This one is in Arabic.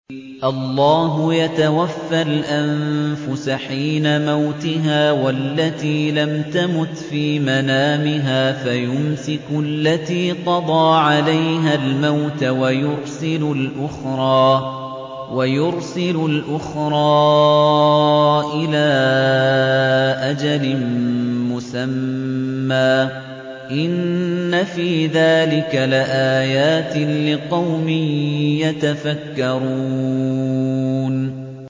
اللَّهُ يَتَوَفَّى الْأَنفُسَ حِينَ مَوْتِهَا وَالَّتِي لَمْ تَمُتْ فِي مَنَامِهَا ۖ فَيُمْسِكُ الَّتِي قَضَىٰ عَلَيْهَا الْمَوْتَ وَيُرْسِلُ الْأُخْرَىٰ إِلَىٰ أَجَلٍ مُّسَمًّى ۚ إِنَّ فِي ذَٰلِكَ لَآيَاتٍ لِّقَوْمٍ يَتَفَكَّرُونَ